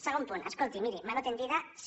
segon punt escolti miri mano tendida sí